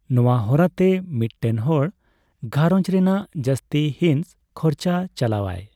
ᱱᱚᱣᱟ ᱦᱚᱨᱟᱛᱮ, ᱢᱤᱫᱴᱮᱱ ᱦᱚᱲ ᱜᱟᱸᱨᱚᱧᱡᱽ ᱨᱮᱱᱟᱜ ᱡᱟᱹᱥᱛᱤ ᱦᱤᱸᱥ ᱠᱷᱚᱨᱪᱟ ᱪᱟᱞᱟᱣᱟᱭ ᱾